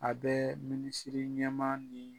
A bɛ minisiri ɲɛma ni